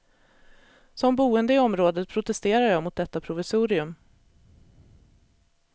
Som boende i området protesterar jag mot detta provisorium.